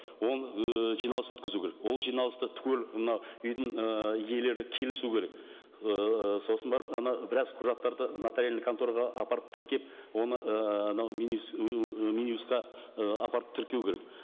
ол ііі жиналыс өткізу керек ол жиналысты түгел мына үйдің ы иелері келісу керек ыыы сосын барып анау біраз құжаттарды нотариальная контораға апарып тіркеп оны ыыы анау мин юстқа і апарып тіркеу керек